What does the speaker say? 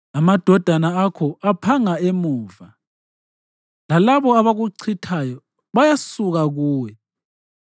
Amadodana akho aphanga emuva, lalabo abakuchithayo bayasuka kuwe.